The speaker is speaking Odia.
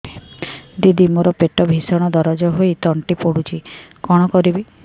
ଦିଦି ମୋର ପେଟ ଭୀଷଣ ଦରଜ ହୋଇ ତଣ୍ଟି ପୋଡୁଛି କଣ କରିବି